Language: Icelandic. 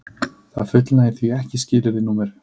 Það fullnægir því ekki skilyrði nr